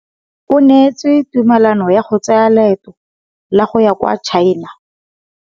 O neetswe tumalanô ya go tsaya loetô la go ya kwa China.